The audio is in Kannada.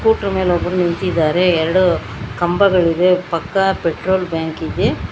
ಫೋಟೋ ಮೆಲ್ ಒಬ್ರು ನಿಂತಿದಾರೆ ಎರಡು ಕಂಬಗಳಿದೆ ಪಕ್ಕ ಪೆಟ್ರೋಲ್ ಬ್ಯಾಂಕ್ ಇದೆ.